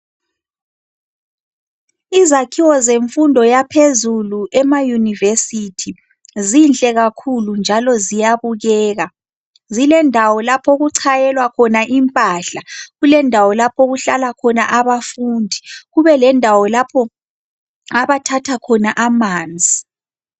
Izakhiwo zemfundo yaphezulu emayunivesithi, zinhle kakhulu njalo ziyabukeka. Zilendawo lapho okuchayelwa khona impahla, kulendawo lapho okuhlala khona abafundi, kubelendawo lapho abathatha khona amanzi.